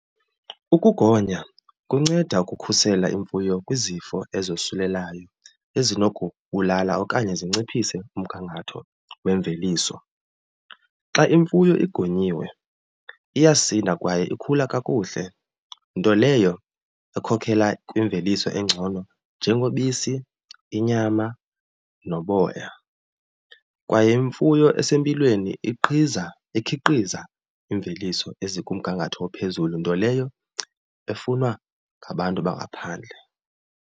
Ukugonya kunceda ukukhusela imfuyo kwizifo ezosulelayo ezinokubulala okanye zinciphise umgangatho wemveliso. Xa imfuyo igonyiwe iyasinda kwaye ikhula kakuhle, nto leyo ekhokela kwimveliso engcono njengobisi, inyama, noboya. Kwaye imfuyo esempilweni iqhiza ikhiqiza iimveliso ezikumgangatho ophezulu, nto leyo efunwa ngabantu bangaphandle.